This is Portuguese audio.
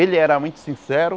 Ele era muito sincero,